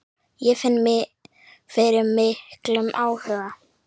Ég finn fyrir miklum áhuga.